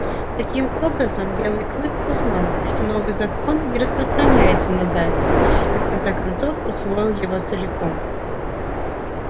таким образом белый клык узнал что новый закон не распространяется на зайцев и в конце концов усвоил его целиком